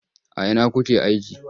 A ina kuke aiki?